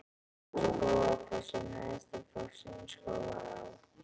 Skógafoss er neðsti fossinn í Skógaá.